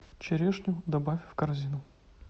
черешню добавь в корзину